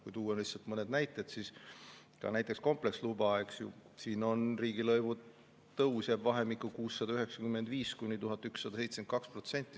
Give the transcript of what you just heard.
Kui tuua lihtsalt mõned näited, siis kompleksloa puhul riigilõivu tõus jääb vahemikku 695–1172%.